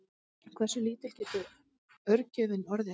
Hversu lítill getur örgjörvinn orðið?